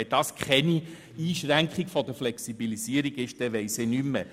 Wenn das keine Einschränkung der Flexibilität ist, dann verstehe ich nichts mehr.